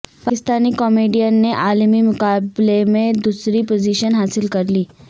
Pakistani comedian نے عالمی مقابلے میں دوسری پوزیشن حاصل کرلی